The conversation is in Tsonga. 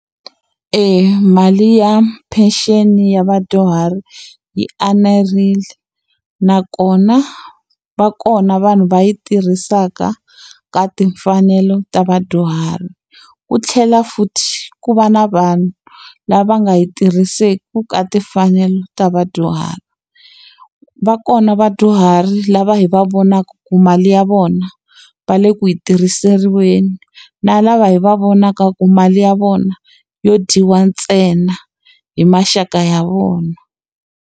mali ya pension-i ya vadyuhari yi enerile. Nakona va kona vanhu va yi tirhisaka ka timfanelo ta vadyuhari. Ku tlhela futhi ku va na vanhu lava nga yi tirhiseki ka timfanelo ta vadyuhari. Va kona vadyuhari lava hi va vonaka ku mali ya vona, va le ku yi tirhisiriweni na lava hi va vonaka ku mali ya vona yo dyiwa ntsena hi maxaka ya vona.